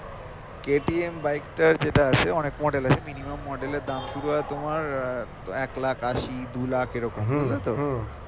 KTM bike টার যেটা আছে অনেক model আছে minimum model এর দাম তোমার এক লাখ আশি দু লক্ষ এরকম বুঝলে তো?